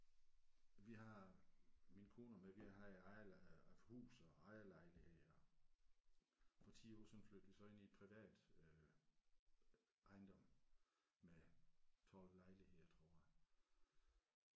Vi har min kone og mig vi har haft ejer haft hus og ejerlejlighed og for 10 år siden flyttede vi så ind i et privat øh ejendom med 12 lejligheder tror jeg